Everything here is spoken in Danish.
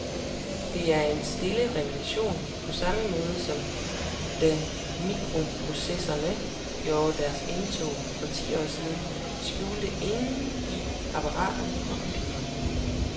Det er en stille revolution, på samme måde som da mikroprocessorerne gjorde deres indtog for ti år siden, skjult indeni apparater og computere.